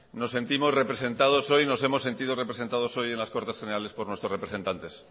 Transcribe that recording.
nos sentimos representados hoy nos hemos sentido representados hoy en las cortes generales por nuestros representantes